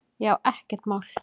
Já, ekkert mál!